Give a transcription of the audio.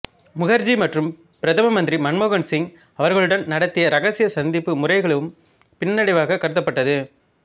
முகர்ஜி மற்றும் பிரதம மந்திரி மன்மோகன் சிங் அவர்களுடன் நடத்திய ரகசிய சந்திப்பு முறைகளும் பின்னடைவாகக் கருதப்பட்டது